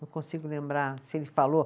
Não consigo lembrar se ele falou.